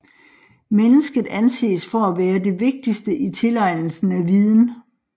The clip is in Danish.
Mennesket anses for at være det vigtigste i tilegnelsen af viden